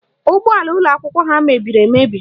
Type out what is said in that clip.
Ụgbọala ụlọakwụkwọ ha mebiri emebi